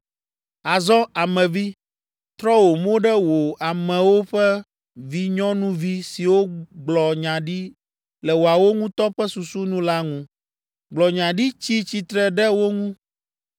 “Azɔ, ame vi, trɔ wò mo ɖe wò amewo ƒe vinyɔnuvi siwo gblɔ nya ɖi le woawo ŋutɔ ƒe susu nu la ŋu. Gblɔ nya ɖi tsi tsitre ɖe wo ŋu,